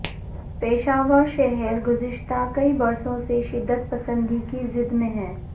پشاور شہر گذشتہ کئی برسوں سے شدت پسندی کی زد میں ہے